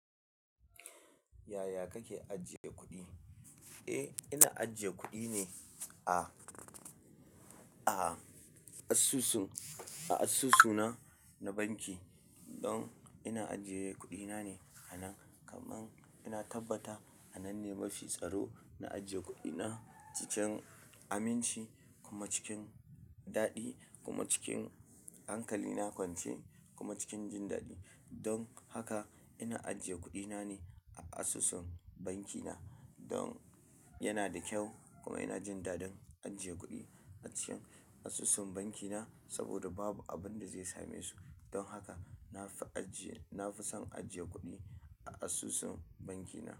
Yaya kake ajiye kuɗi? Eh, ina ajiye kuɗi ne a, a asusu, a asusuna na banki. Don ina ajiye kuɗi na ne anan kaman ina tabbata anan ne mafi tsaro na ajiye kuɗina cikin aminci kuma cikin daɗi kuma cikin hankalina kwance kuma cikin jin daɗi don haka ina ajiye kuɗina ne a asusun bankina. Don yana da kyau kuma ina jin daɗin ajiye kuɗi a cikin asusun bankina saboda babu abin da zai same su. Don haka na fi ajiye, na fi son ajiye kuɗi a asusun bankina.